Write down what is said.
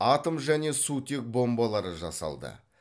атом және сутек бомбалары жасалды